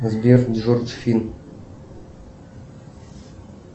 сбер джордж фин